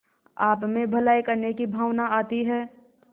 आपमें भलाई करने की भावना आती है